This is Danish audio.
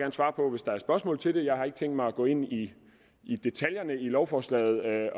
hvis der er spørgsmål til det jeg har ikke tænkt mig at gå ind i i detaljerne i lovforslaget